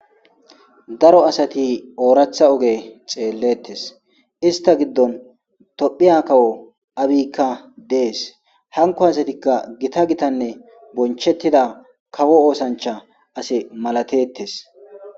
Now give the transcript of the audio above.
Daro adati oratha oge xeeletes ista gidon tophiya kawo abiyka dees hankoytika Gita gitanne bonchetida kawo oosancha malatetes